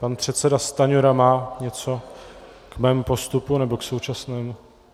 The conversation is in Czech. Pan předseda Stanjura má něco k mému postupu, nebo k současnému...